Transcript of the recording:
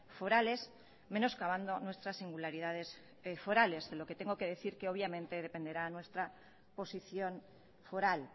forales menoscabando nuestras singularidades forales de lo que tengo que decir que obviamente dependerá nuestra posición foral